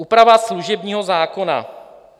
Úprava služebního zákona.